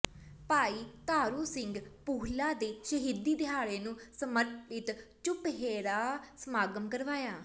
ਭਾਈ ਤਾਰੂ ਸਿੰਘ ਪੂਹਲਾ ਦੇ ਸ਼ਹੀਦੀ ਦਿਹਾੜੇ ਨੂੰ ਸਮਰਪਿਤ ਚੁਪਹਿਰਾ ਸਮਾਗਮ ਕਰਵਾਇਆ